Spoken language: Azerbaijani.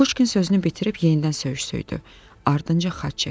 Kukuşkin sözünü bitirib yenidən söyüş söydü, ardınca xax çəkdi.